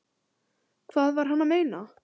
Hvað var hann að meina?